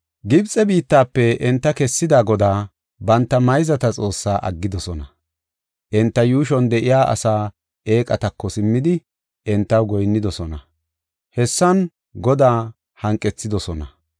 Gibxe biittafe enta kessida Godaa, banta mayzata Xoossaa aggidosona. Enta yuushuwan de7iya asaa eeqatako simmidi, entaw goyinnidosona; hessan Godaa hanqethidosona.